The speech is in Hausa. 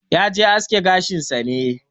Yaje aske gashin sa ne.